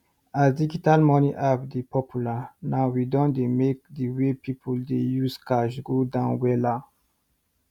as digital money app dey popular now we don make the way pipu dey use cash go down wella